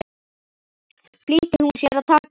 flýtti hún sér að taka undir.